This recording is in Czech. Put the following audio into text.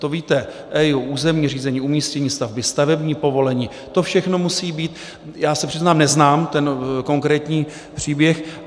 To víte, EIA, územní řízení, umístění stavby, stavební povolení, to všechno musí být - já se přiznám, neznám ten konkrétní příběh.